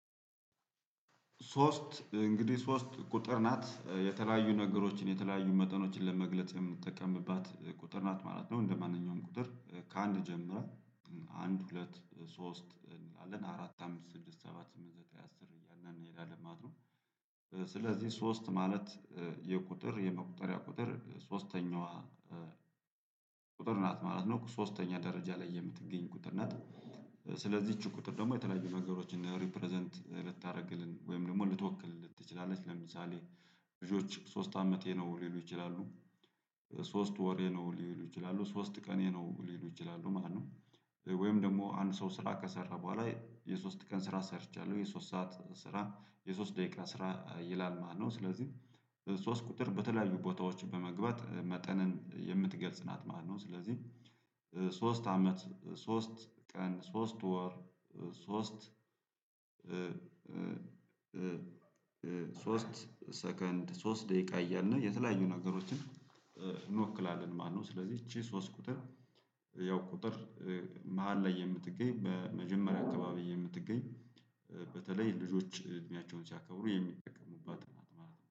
ሶስት እንግዲህ ሶስት ቁጥር ናት የተለያዩ ነገሮችን የተለያዩ መጠኖችን ለመግለጽ የምንጠቀምባት ቁጥር ናት ማለት ነው እንደማንኛውም ቁጥር ከአንድ ጀምረን አንድ ሁለት ሶስት አለን አራት አምስት ስድስት ሰባት ስምንት ዘጠኝ አስር እያልን እንሄዳለን ማለት ነው። ስለዚህ ሶስት ማለት የቁጥር የመቁጠሪያ ቁጥር ሶስተኛዋ ቁጥር ናት ማለት ነው። ሶስተኛ ደረጃ ላይ የምትገኝ ቁጥር ነት። ስለዚህ ይች ቁጥር ደግሞ የተለያዩ ነገሮችን ሪፕረዘንት ልታደርግልን ወይም ደግሞ ልትወክልልን ትችላለች ለምሳሌ ልጆች ሶስት አመቴ ነው ሊሉ ይችላሉ ሶስት ወሬ ነው ሊሉ ይችላሉ ሶስት ቀኔ ነው ሊሉ ይችላሉ ማለት ነው። ወይም ደግሞ አንድ ሰው ስራ ከሰራ በኋላ የሶስት ቀን ስራ ሰርቻለሁ የሶስት ሰዓት ስራ የሶስት ደቂቃ ስራ ይላል ማለት ነው። ስለዚህ ሶስት ቁጥር በተለያዩ ቦታዎች በመግባት መጠንን የምትገልጽ ናት ማለት ነው። ስለዚህ ሶስት አመት ሶስት ቀን ሶስት ወር ሶስት ሶስት ሰከንድ ሶስት ደቂቃ እያልን የተለያዩ ነገሮችን እንወክላለን ማለት ነው። ስለዚህ ይቺ ሶስት ቁጥር ያው ቁጥር መሃል ላይ የምትገኝ በመጀመሪያ አካባቢ የምትገኝ በተለይ ልጆች እድሜያቸውን ሲያከብሩ የሚጠቀሙባት ናት ማለት ነው